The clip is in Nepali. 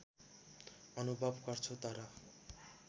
अनुभव गर्छु तर